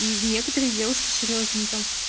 и некоторые девушки серьёзно там